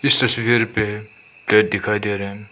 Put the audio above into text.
इस तस्वीर पे प्लेट दिखाई दे रहे हैं।